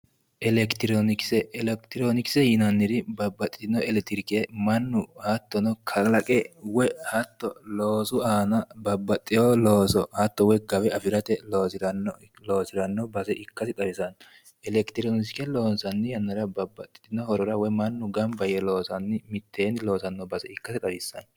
Elekitirionikise yinnannori babbaxitino elekitirionikise mannu hattono zalaqe woyi loosu aana babbaxeyo looso hatto gawe afirate loosirano base ikkasi xawisano, elekitirionikise loonsanni yannara babbaxxotino horora woyi mannu gamba yee mitteenni loosanotta ikkase xawisano.